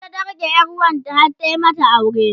ita ta rike ƴar wanta har ta mata aure